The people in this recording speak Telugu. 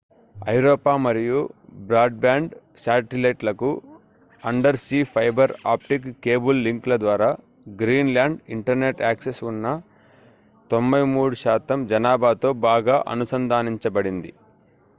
ఐరోపా మరియు బ్రాడ్ బ్యాండ్ శాటిలైట్ లకు undersea fibre optic cable link ల ద్వారా గ్రీన్ లాండ్ ఇంటర్నెట్ యాక్సెస్ ఉన్న 93% జనాభాతో బాగా అనుసంధానించబడింది